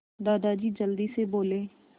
दादाजी जल्दी से बोले